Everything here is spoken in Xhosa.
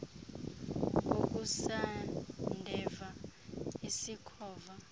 kokusa ndeva isikhova